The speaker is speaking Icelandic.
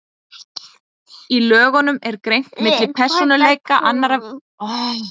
Í lögunum er greint milli persónuupplýsinga annars vegar og viðkvæmra persónuupplýsinga hins vegar.